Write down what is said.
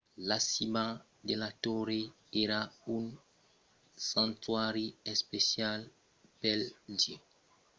la cima de la torre èra un santuari especial pel dieu